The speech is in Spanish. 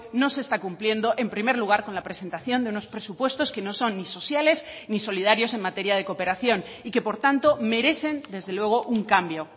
no se está cumpliendo en primer lugar con la presentación de unos presupuestos que no son ni sociales ni solidarios en materia de cooperación y que por tanto merecen desde luego un cambio